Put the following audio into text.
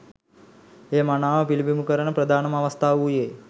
එය මනාව පිළිබිඹු කරන ප්‍රධානම අවස්‌ථාව වූයේ